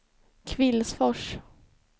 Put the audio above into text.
Kvillsfors